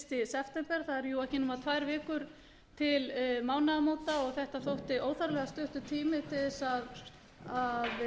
september það eru ekki nema tvær vikur til mánaðamóta og þetta þótti óþarflega stuttur tími til að